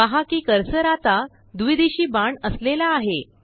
पहा कि कर्सर आता द्विदिशी बाण असलेला आहे